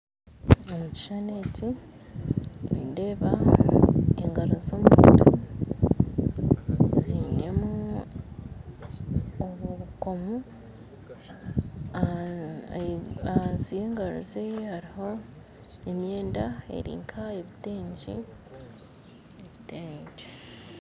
Omu kishushani eki nindeeba engaro z'omuntu zainemu obukoomo ahansi y'engaro ze hariho emyenda eri nk'ebitengye